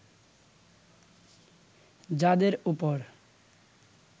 যাঁদের ওপর